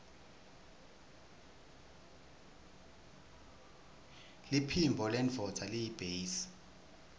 liphimbo lendvodza yiytbase